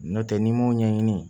N'o tɛ n'i m'o ɲɛɲini